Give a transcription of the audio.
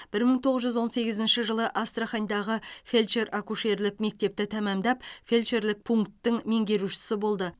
бір мың тоғыз жүз он сегізінші жылы астрахандағы фельдшер акушерлік мектепті тәмамдап фельдшерлік пунктің меңгерушісі болды